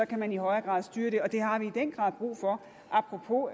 kan man i højere grad styre det og det har vi i den grad brug for apropos